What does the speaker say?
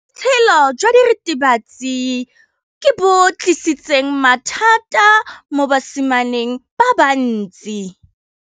Botshelo jwa diritibatsi ke bo tlisitse mathata mo basimaneng ba bantsi.